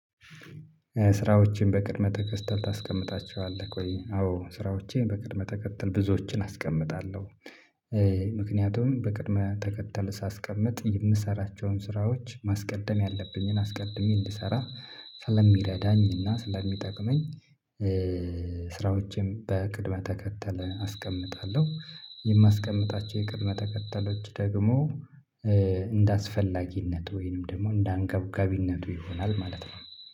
ስራዎችን በቅድመ ተከተል ታስቀምጣቸዋለህ ቆይ አዎ ስራዎቼ በቅድመ ተከተል ብዙዎችን አስቀምጣለሁ። ምክንያቱም በቅድመ ተከተል ሳስቀምጥ የምሰራቸውን ስራዎች ማስቀደም ያለብኝን አስቀድሜ እንድሰራ ስለሚረዳኝና ስለሚጠቅመኝ። ስራዎችን በቅድመ ተከተል አስቀምጣለሁ። የማስቀምጣቸው የቅድመ ተከተሎች ደግሞ እንደአስፈላጊነት ወይንም ደግሞ እንደአንገብጋቢነቱ ይሆናል ማለት ነው